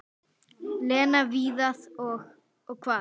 Lena, Viðar og- Og hvað?